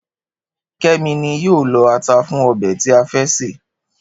Ké̩mi ni yóò lo̩ ata fún o̩bè̩ tí a fé̩ sè